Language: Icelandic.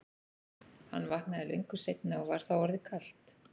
Hann vaknaði löngu seinna og var þá orðið kalt.